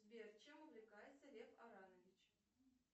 сбер чем увлекается лев аранович